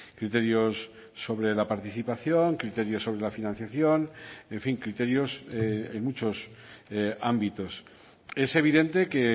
criterios sobre la participación criterios sobre la financiación en fin criterios en muchos ámbitos es evidente que